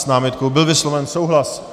S námitkou byl vysloven souhlas.